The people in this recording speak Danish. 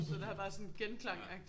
Så den har bare sådan genklang agtig